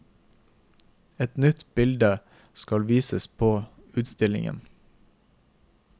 Et nytt bilde skal vises på utstillingen.